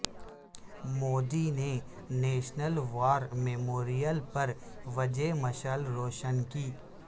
مودی نے national war memorial پر وجے مشعل روشن کی